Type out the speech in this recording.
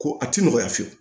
Ko a ti nɔgɔya fiyewu